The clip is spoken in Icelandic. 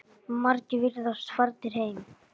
Margir virðast farnir heim.